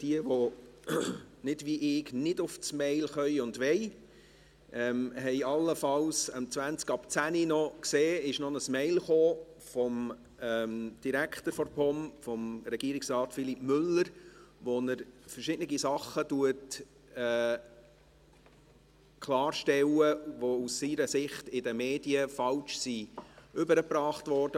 Diejenigen, die auf ihre Mails zugreifen können oder wollen, haben allenfalls um 10.20 Uhr gesehen, dass eine Mail von Philippe Müller, dem Direktor der POM, eingetroffen ist, worin er verschiedene Dinge klarstellt, die aus seiner Sicht in den Medien falsch rübergebracht wurden.